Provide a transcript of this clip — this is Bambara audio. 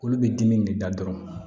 Olu bɛ dimi de da dɔrɔn